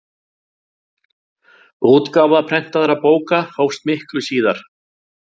útgáfa prentaðra bóka hófst miklu síðar